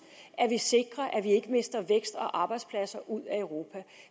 at vi sikrer at vi ikke mister vækst og arbejdspladser ud af europa